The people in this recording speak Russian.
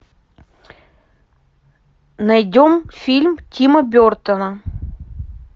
найдем фильм тима бертона